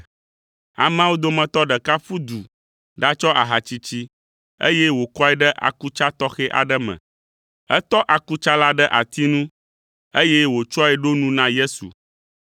Ameawo dometɔ ɖeka ƒu du ɖatsɔ aha tsitsi, eye wòkɔe ɖe akutsa tɔxɛ aɖe me. Etɔ akutsa la ɖe ati nu, eye wòtsɔe ɖo nu na Yesu.